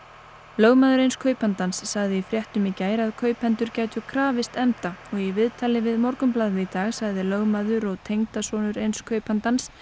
lögmaður eins kaupandans sagði í fréttum í gær að kaupendur gætu krafist efnda og í viðtali við Morgunblaðið í dag sagði lögmaður og tengdasonur eins kaupandans